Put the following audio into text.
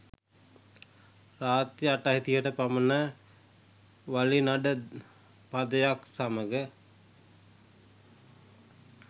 රාත්‍රී අටයි තිහට පමණ වලිනඩ පදයක් සමග